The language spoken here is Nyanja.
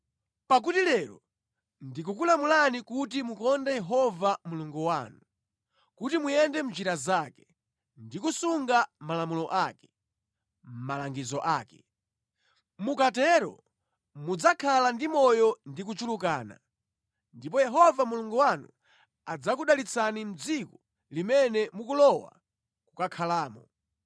Pakuti lero ndikukulamulani kuti mukonde Yehova Mulungu wanu, kuti muyende mʼnjira zake, ndi kusunga malamulo ake, malangizo ake. Mukatero mudzakhala ndi moyo ndi kuchulukana, ndipo Yehova Mulungu wanu adzakudalitsani mʼdziko limene mukulowa kukakhalamo.